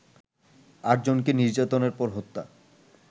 আটজনকে নির্যাতনের পর হত্যা